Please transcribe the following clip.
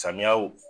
Samiyaw